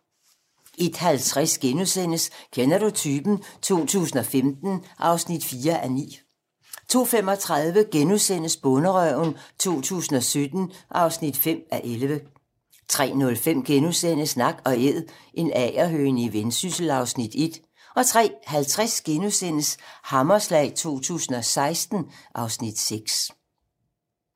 01:50: Kender du typen? 2015 (4:9)* 02:35: Bonderøven 2017 (5:11)* 03:05: Nak & Æd - en agerhøne i Vendsyssel (Afs. 1)* 03:50: Hammerslag 2016 (Afs. 6)*